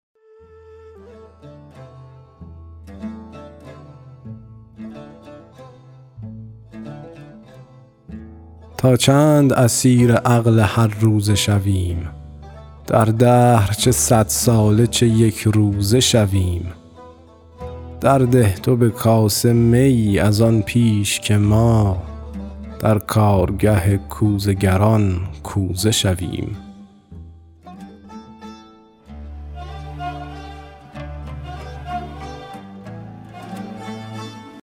تا چند اسیر عقل هر روزه شویم در دهر چه صد ساله چه یکروزه شویم درده تو به کاسه می از آن پیش که ما در کارگه کوزه گران کوزه شویم